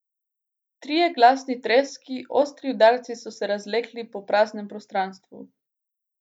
Trije glasni treski, ostri udarci so se razlegli po praznem prostranstvu.